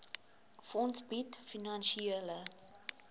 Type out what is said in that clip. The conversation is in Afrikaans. fonds bied finansiële